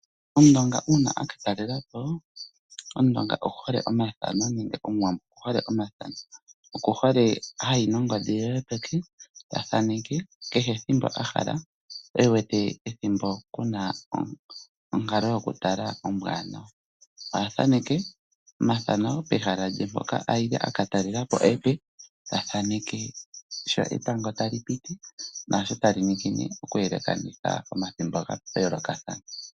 Ngele omutu ayi komahala omape oku hole okuthaneka omadhano nongodhi ye yopeke. Ohashi ningwa uunene ngele pehala opuna iinima iiwanawa, ngaashi etango tali ningine ohashi ondotha omeho lela.